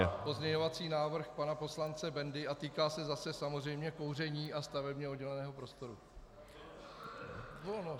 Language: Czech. Je to pozměňovací návrh pana poslance Bendy a týká se zase samozřejmě kouření a stavebně odděleného prostoru.